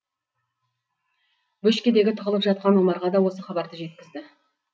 бөшкедегі тығылып жатқан омарға да осы хабарды жеткізді